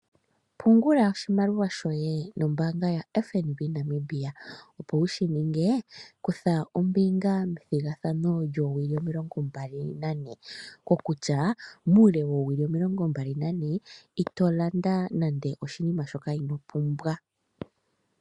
Pungula oshimaliwa shoye nombaanga yo FNB Namibia, opo wushi ninge kutha ombinga methigathano lyoowili omilongo mbali nane. Kokutya, muule woowili omilongo mbali nane ito landa nande oshinima shoka inoo pumbwa.